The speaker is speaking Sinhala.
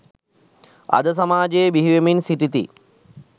අද සමාජයේ බිහිවෙමින් සිටිති.